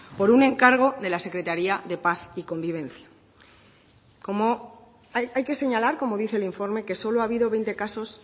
por un encargo de la secretaria de paz y convivencia hay que señalar como dice el informe que solo ha habido veinte casos